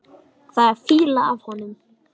Það er fýla af honum.